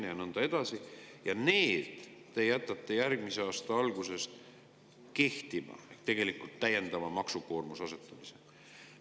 Need te jätate järgmise aasta algusest kehtima, tegelikult asetate täiendava maksukoormuse.